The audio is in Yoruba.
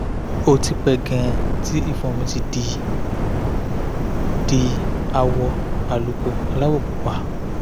ó ti pẹ́ gan-an tí ìfun mi ti di di àwọ̀ àlùkò aláwọ̀ pupa